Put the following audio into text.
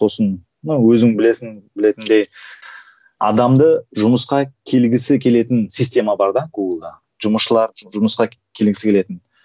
сосын ну өзің білесің білетіндей адамды жұмысқа келгісі келетін система бар да гуглда жұмысшылыр жұмысқа келгісі келетін